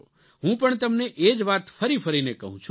હું પણ તમને એ જ વાત ફરી ફરીને કહું છું